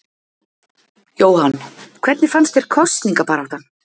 Jóhann: Hvernig fannst þér kosningabaráttan?